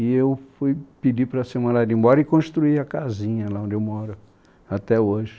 E eu fui pedir para ser mandado embora e construí a casinha lá onde eu moro até hoje.